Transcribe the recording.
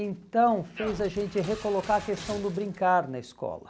Então fez a gente recolocar a questão do brincar na escola.